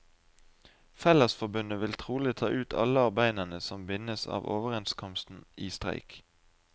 Fellesforbundet vil trolig ta ut alle arbeiderne som bindes av overenskomsten i streik.